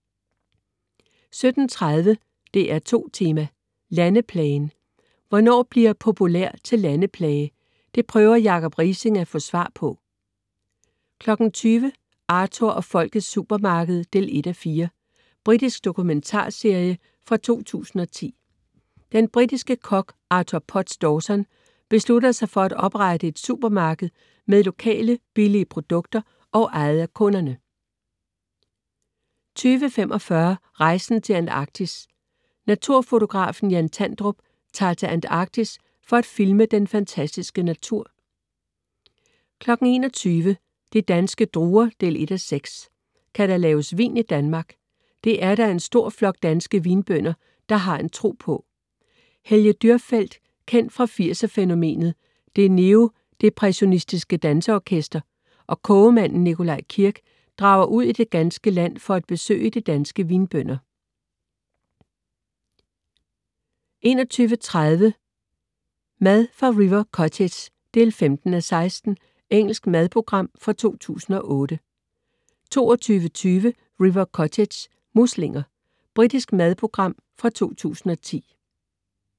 17.30 DR2 Tema: Landeplagen. Hvornår bliver "populær" til "Landeplage"? Det prøver Jacob Riising at få svar på 20.00 Arthur og Folkets supermarked 1:4. Britisk dokumentarserie fra 2010. Den britiske kok Arthur Potts Dawson beslutter sig for, at oprette et supermarked med lokale billige produkter og ejet af kunderne 20.45 Rejsen til Antarktis. Naturfotografen Jan Tandrup tager til Antarktis for at filme den fantastiske natur 21.00 De danske druer 1:6. Kan der laves vin i Danmark? Det er der en stor flok danske vinbønder, der har en tro på. Helge Dürrfeld, kendt fra 80'er-fænomenet "Det neodepressionistiske danseorkester" og kogemanden Nikolaj Kirk drager ud i det ganske land for at besøge de danske vinbønder 21.30 Mad fra River Cottage 15:16. Engelsk madprogram fra 2008 22.20 River Cottage. Muslinger. Britisk madprogram fra 2010